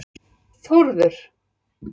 Þórður